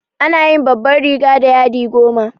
Ana yin babban riga da yadi goma.